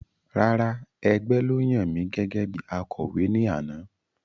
Rárá, ẹgbẹ́ ló yan mi gẹ́gẹ́bí Akọ̀wé ní àná